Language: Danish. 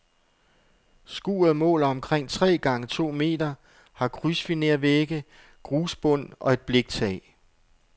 Skuret måler omkring tre gange to meter, har krydsfinervægge, grusbund og et bliktag.